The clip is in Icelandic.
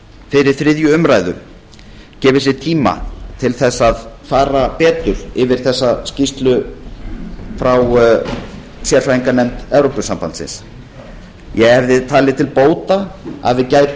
fyrir þriðju umræðu gefið sér tíma til þess að fara betur yfir þessa skýrslu frá sérfræðinganefnd evrópusambandsins ég hefði talið til bóta að við